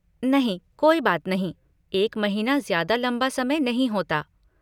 नहीं कोई बात नहीं, एक महीना ज़्यादा लंबा समय नहीं होता।